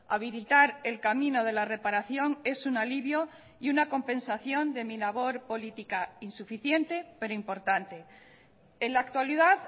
habilitar el camino de la reparación es un alivio y una compensación de mi labor política insuficiente pero importante en la actualidad